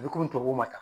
U bɛ komi tubabuw ma ta